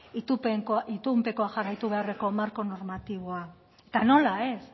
itunpekoan jarraitu beharreko marko normatiboa eta nola ez